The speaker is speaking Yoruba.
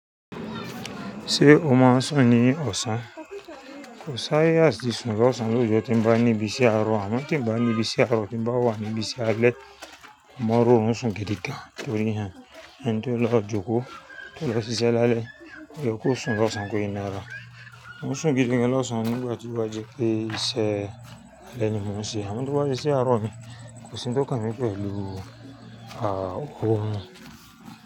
Ṣé o mọ ọ n sùn ní ọ̀sán? Kòsí àyè àti sùn lọsàn loójọ tí ń bá ní ibí ṣe àárọ̀ àmọ́ tí ń bá ní ibí ṣe àárọ̀, tí ń bá wà ní ibí ṣe alẹ́, mo mọ n roorun sùn gidi gan. Torí, ẹni tó lọ jókòó, tó lọ ṣiṣẹ́ lálẹ́, òyẹ kó sùn lọ́sàn kó fi nara. Mo ń sùn gidi gan lọ́sàn nígbà tí o á jẹ pé iṣẹ́ alẹ́ ni mo ń ṣe àmọ́ tó bá sé iṣẹ́ àárọ̀ ni, kò sí ń tó kan mi pẹ̀lú, ah, oorun.